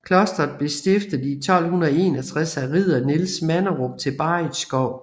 Klosteret blev stiftet i 1261 af ridder Niels Manderup til Barritskov